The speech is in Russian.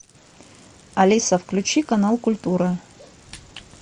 алиса включи канал культура